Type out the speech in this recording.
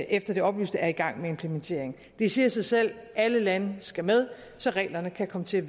efter det oplyste er i gang med en implementering det siger sig selv at alle lande skal med så reglerne kan komme til